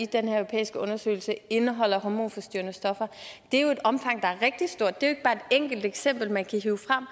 den her europæiske undersøgelse indeholder hormonforstyrrende stoffer det er jo et omfang der er rigtig stort det er jo ikke bare et enkelt eksempel man kan hive frem